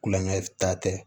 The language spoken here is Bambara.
Kulonkɛ ta tɛ